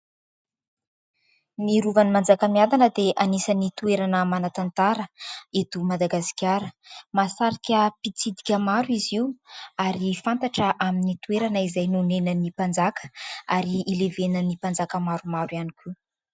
Ny Rovany Manjakamiadana dia anisany toerana manan-tantara eto Madagasikara mahasarika mpitsidika maro izy io ary fantatra amin'ny toerana izay nonenan'ny mpanjaka ary ilevenan'ny mpanjaka maro maro ihany koa.